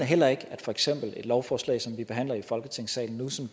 heller ikke at for eksempel et lovforslag som vi behandler i folketingssalen nu og som